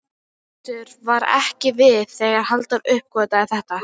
Teitur var ekki við þegar Halldór uppgötvaði þetta.